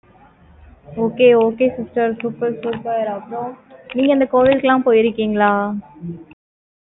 okay okay sister super super அப்புறம், நீங்க, இந்த கோவிலுக்கு எல்லாம் போயிருக்கீங்களா